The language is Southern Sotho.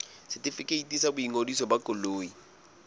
setefikeiti sa boingodiso ba koloi